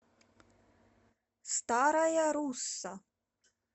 старая русса